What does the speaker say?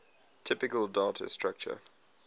typical data structure